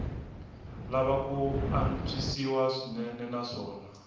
lava ku antswisiwa swinene naswona